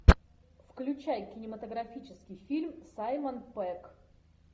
включай кинематографический фильм саймон пегг